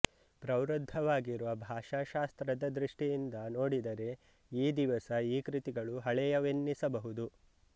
ಪ್ರವೃದ್ಧವಾಗಿರುವ ಭಾಷಾಶಾಸ್ತ್ರದ ದೃಷ್ಟಿಯಿಂದ ನೋಡಿದರೆ ಈ ದಿವಸ ಈ ಕೃತಿಗಳು ಹಳೆಯವೆನ್ನಿಸಬಹುದು